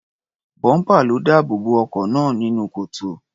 Bọ́ḿpà ló dáàbò bo ọkọ̀ náà nínú kòtò.